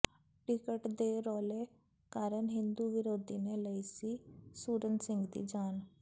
ticket ਦੇ ਰੌਲੇ ਕਾਰਨ ਹਿੰਦੂ ਵਿਰੋਧੀ ਨੇ ਲਈ ਸੀ ਸੂਰਨ ਸਿੰਘ ਦੀ ਜਾਨ